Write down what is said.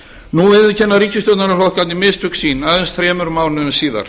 nú viðurkenna ríkisstjórnarflokkarnir mistök sín aðeins þremur mánuðum síðar